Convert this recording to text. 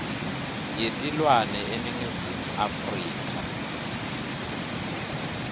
yetilwane eningizimu afrika